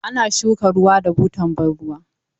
Ana ba shuka ruwa da butan ban ruwa.